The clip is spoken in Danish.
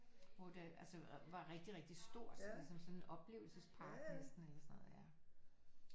Hvor det altså var rigtig rigtig stort ligesom sådan en oplevelsespark næsten eller sådan noget ja